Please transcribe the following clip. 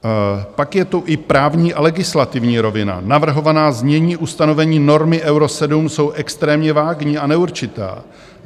Pak je tu i právní a legislativní rovina, navrhovaná znění ustanovení normy Euro 7 jsou extrémně vágní a neurčitá.